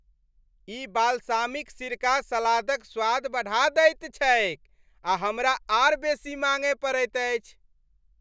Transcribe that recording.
ई balsamic सिरका सलादक स्वाद बढ़ा दैत छैक आ हमरा आर बेसी माङ्गय पड़ैत अछि।